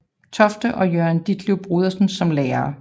Tofte og Jørgen Ditleff Bondesen som lærere